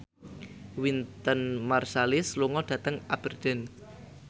Wynton Marsalis lunga dhateng Aberdeen